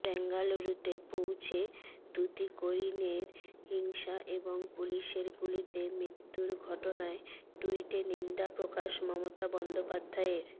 বেঙ্গালুরুতে পৌঁছে তুতিকোরিনের হিংসা এবং পুলিশের গুলিতে মৃত্যুর ঘটনায় টুইটে নিন্দা প্রকাশ মমতা বন্দ্যোপাধ্যায়ের